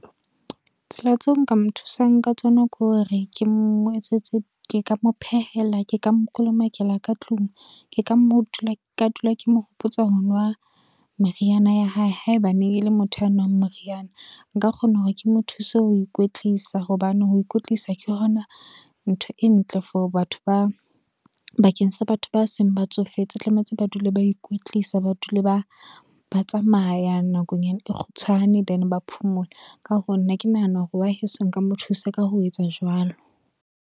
Tsela tseo nka mo thusang ka tsona ke hore ke mo etsetse, ke ka mo phehela, ke ka mokolomakela ka tlung, ke ka dula ke mo hopotsa honwa meriana ya hae haeba neng e le motho a nang moriana. Nka kgona hore ke mo thuse ho ikwetlisa, hobane ho ikwetlisa ke hona ntho e ntle for batho bakeng sa batho ba seng ba tsofetse, tlametse ba dule ba ikwetlisa ba dule ba tsamaya nakonyana e kgutshwane then ba phomole, ka hoo nna ke nahana hore wa heso nka mo thusa ka ho etsa jwalo.